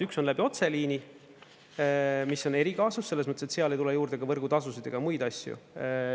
Üks on läbi otseliini, mis on erikaasus selles mõttes, et seal ei tule juurde ka võrgutasusid ega muid asju.